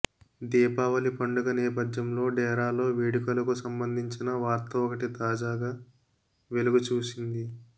దీపావళి పండుగ నేపథ్యంలో డేరాలో వేడుకలకు సంబంధించిన వార్త ఒకటి తాజాగా వెలుగుచూసింది